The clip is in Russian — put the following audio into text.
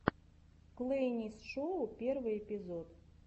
клэйнес шоу первый эпизод